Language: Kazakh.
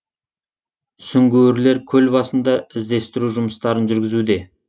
сүңгуірлер көл басында іздестіру жұмыстарын жүргізуде